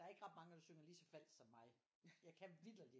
Der er ikke ret mange der synger lige så falsk som mig jeg kan vitterligt